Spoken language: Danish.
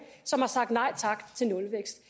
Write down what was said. som har sagt nej tak til nulvækst